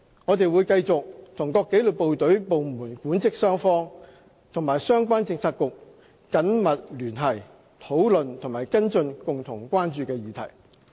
我們會繼續和各紀律部隊部門的管職雙方和相關政策局緊密聯繫，討論和跟進共同關注的議題。